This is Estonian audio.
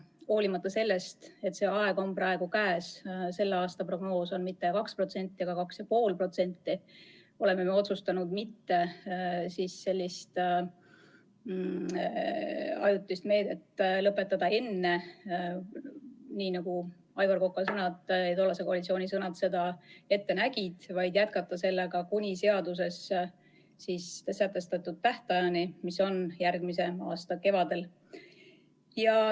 Hoolimata sellest, et see aeg on praegu käes – selle aasta prognoos ei ole mitte 2%, vaid 2,5% –, oleme otsustanud seda ajutist meedet mitte lõpetada enne, nii nagu Aivar Koka ja tollase koalitsiooni plaan ette nägi, vaid jätkata seda kuni seaduses sätestatud tähtaja lõpuni ehk järgmise aasta kevadeni.